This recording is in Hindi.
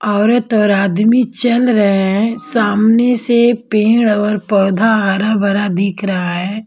औरत और आदमी चल रहे हैं सामने से पेड़ और पौधा हरा भरा दिख रहा है।